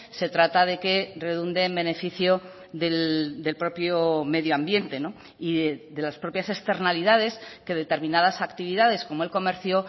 se trata de que redunde en beneficio del propio medio ambiente y de las propias externalidades que determinadas actividades como el comercio